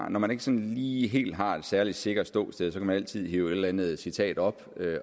at når man ikke sådan lige helt har et særlig sikkert ståsted kan man altid hive et eller andet citat op